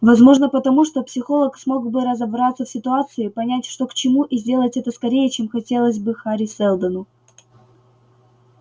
возможно потому что психолог смог бы разобраться в ситуации понять что к чему и сделать это скорее чем хотелось бы хари сэлдону